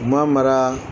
U ma mara